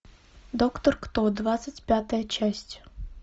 доктор кто двадцать пятая часть